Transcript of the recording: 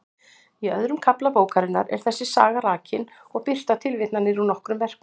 Í öðrum kafla bókarinnar er þessi saga rakin og birtar tilvitnanir úr nokkrum verkum.